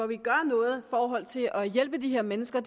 vi gør noget i forhold til at hjælpe de her mennesker